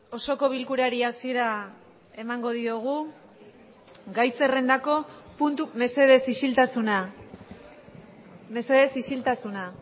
osoko bilkurari hasiera emango diogu gai zerrendako puntu mesedez isiltasuna mesedez isiltasuna